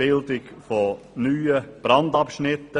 Bildung neuer Brandabschnitte;